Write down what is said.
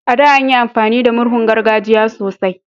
A da, anyi amfani da murhun gargajiya sosai